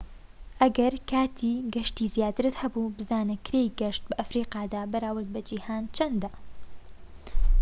ئەگەر کاتی گەشتی زیاترت هەبوو بزانە کرێی گەشت بە ئەفریقادا بەراورد بە جیهاندا چەندە